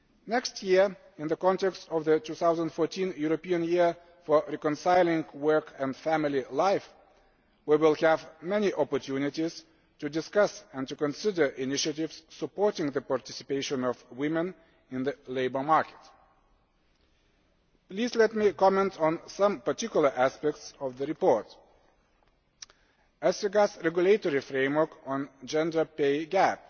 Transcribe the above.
Next year, in the context of the 2014 European Year for Reconciling Work and Family Life, we shall have many opportunities to discuss and to consider initiatives supporting the participation of woman in the labour market. Please let me comment on some particular aspects of the report as regards the regulatory framework on the gender pay